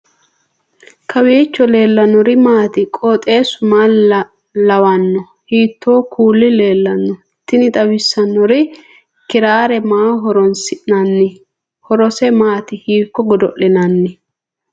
kowiicho leellannori maati ? qooxeessu maa lawaanno ? hiitoo kuuli leellanno ? tini xawissannori kiraare maaho horroonsi'nanni horose maati hiikko godo'linanni